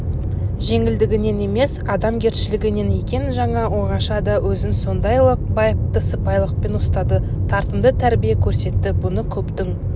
жеңілдігінен емес адамгершілігінен екен жаңа оңашада өзін сондайлық байыпты сыпайылықпен ұстады тартымды тәрбие көрсетті бұны көптің